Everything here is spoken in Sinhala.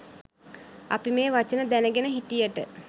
අපි මේ වචන දැනගෙන හිටියට